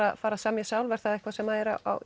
að fara að semja sjálf er það eitthvað sem